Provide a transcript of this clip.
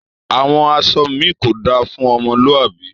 Awọn aṣọ mi kò dá fún ọmọlúàbí